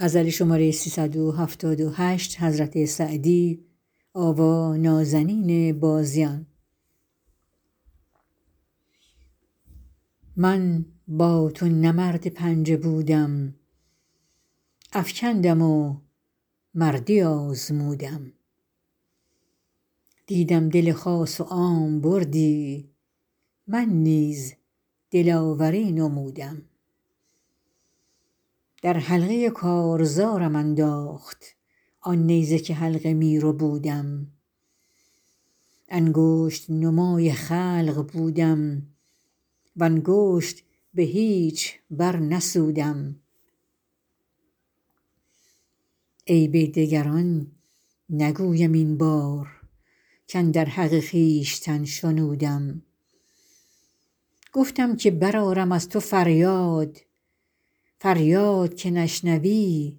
من با تو نه مرد پنجه بودم افکندم و مردی آزمودم دیدم دل خاص و عام بردی من نیز دلاوری نمودم در حلقه کارزارم انداخت آن نیزه که حلقه می ربودم انگشت نمای خلق بودم و انگشت به هیچ برنسودم عیب دگران نگویم این بار کاندر حق خویشتن شنودم گفتم که برآرم از تو فریاد فریاد که نشنوی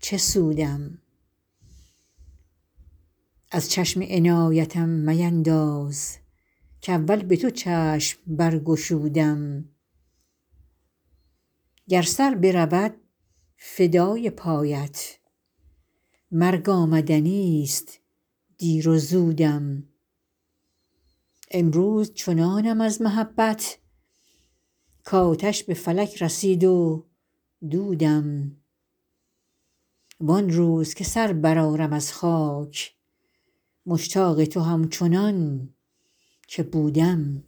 چه سودم از چشم عنایتم مینداز کاول به تو چشم برگشودم گر سر برود فدای پایت مرگ آمدنیست دیر و زودم امروز چنانم از محبت کآتش به فلک رسید و دودم وان روز که سر برآرم از خاک مشتاق تو همچنان که بودم